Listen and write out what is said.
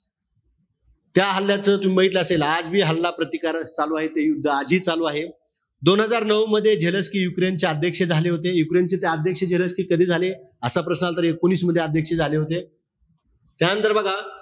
त्या हल्ल्याचं तुम्ही बघितलं असेल, आज बी हल्ला प्रतिकारक चालूय ते, आजही चालू आहे. दोन हजार नऊ मध्ये, झेलेन्स्की युक्रेनचे अध्यक्ष झाले होते. युक्रेनचे ते अध्यक्ष झेलेन्स्की कधी झाले? असा प्रश्न आला तर एकोणीस मध्ये, अध्यक्ष झाले होते. त्यानंतर बघा,